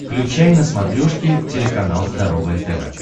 включай на смотрешке телеканал здоровое тв